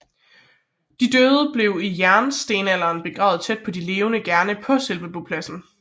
De døde blev i jægerstenalderen begravet tæt på de levende gerne på selve bopladsen